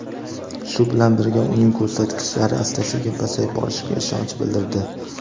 shu bilan birga uning ko‘rsatkichlari asta-sekin pasayib borishiga ishonch bildirdi.